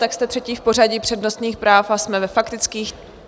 Tak jste třetí v pořadí přednostních práv, teď jsme ve faktických.